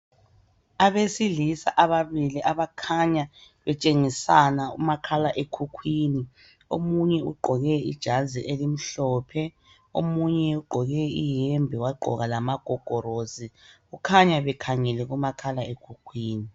Abesilisa ababili abakhanya betshengisana umakhalekhukhwini, omunye ugqoke ijazi elimhlophe, omunye ugqoke iyembe wagqoka lamagogorosi. Kukhanya bekhangele kumakhalekhukhwini.